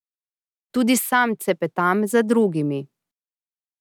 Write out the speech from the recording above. Tudi sam cepetam za drugimi.